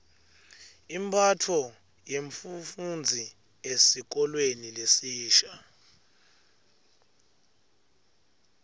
imphatfo yemfufndzi esikolweni lesisha